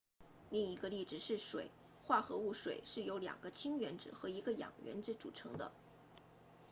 另一个例子是水化合物水是由两个氢原子和一个氧原子组成的